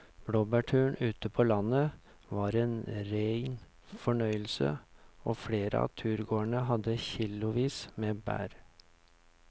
Blåbærturen ute på landet var en rein fornøyelse og flere av turgåerene hadde kilosvis med bær.